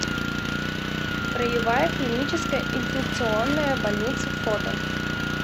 краевая клиническая инфекционная больница фото